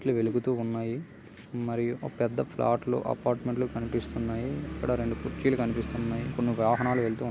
light లు వెలుగుతున్నాయి మరియు ఓ పెద్ద ఫ్లాట్ లు అపార్ట్మెంట్ లు కనిపిస్తున్నాయి ఇక్కడ రెండు కుర్చీలు కనిపిస్తున్నాయి కొన్ని వాహనాలు వెళుతూ ఉన్నా --